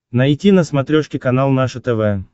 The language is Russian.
найти на смотрешке канал наше тв